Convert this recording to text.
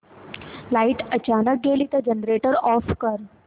light अचानक गेली तर जनरेटर ऑफ कर